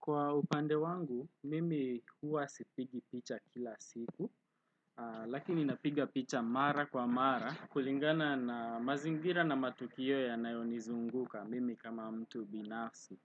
Kwa upande wangu, mimi huwa sipigi picha kila siku, lakini napiga picha mara kwa mara, kulingana na mazingira na matukio yanayonizunguka mimi kama mtu binafsi.